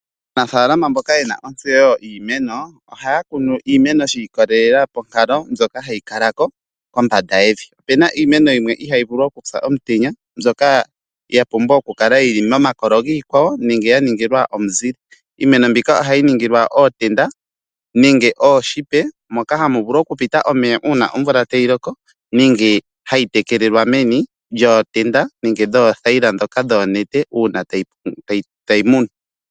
Aanafaalama mboka yena ontseyo yiimeno ohaya kunu iimeno shi ikolelela ponkalo ndjoka hayi kalako kombanda yevi .Opena iimeno yimwe ihayi vulu okupya omutenya mbyoka ya pumbwa okukala yili momakolo giikwawo nenge ya ningilwa omuzile . Iimeno mbika ohayi ningilwa ootenda nenge ooshipa moka hamu vulu okupita omeya uuna omvula tayi loko nenge hayi tekelelwa meni lyootenda nenge oothayila ndhoka dhoonete uuna tadhi munwa.